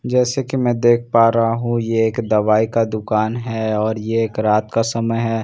जैसे कि मैं देख पा रहा हूं ये एक दवाई का दुकान है और ये एक रात का समय है।